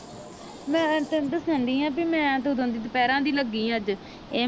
ਮੈਂ ਤੈਨੂੰ ਦੱਸਣਡੀ ਹਾਂ ਵੀ ਮੈਂ ਤਾਂ ਓਦਣ ਦੀ ਦੁਪਹਿਰਾਂ ਦੀ ਲੱਗੀ ਅੱਜ ਇਹ